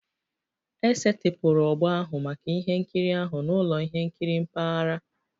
E setịpụrụ ogbo ahụ maka ihe nkiri ahụ n'ụlọ ihe nkiri mpaghara